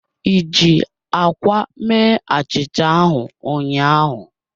I ji akwa mee achicha ahu ụnyaahụ?